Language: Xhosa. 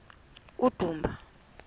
udumba